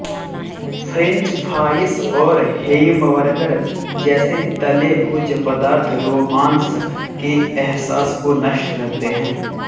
French fries और hamburger जैसे तले भोज्यपदार्थ रोमांस के एहसास को नष्ट करते हैं